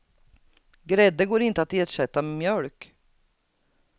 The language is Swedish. Grädde går inte att ersätta med mjölk.